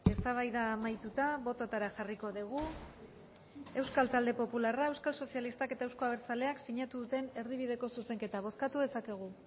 eztabaida amaituta bototara jarriko dugu euskal talde popularra euskal sozialistak eta euzko abertzaleak sinatu duten erdibideko zuzenketa bozkatu dezakegu